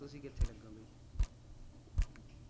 ਤੁਸੀ ਕਿਥੇ ਲੱਗੇ ਹੋ ਬਾਈ